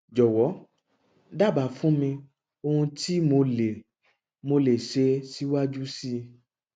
jọwọ dábàá fún mi ohun tí mo lè mo lè ṣe síwájú sí i